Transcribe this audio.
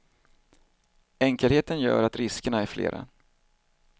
Enkelheten gör att riskerna är flera.